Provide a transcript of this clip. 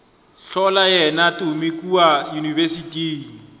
hlola yena tumi kua yunibesithing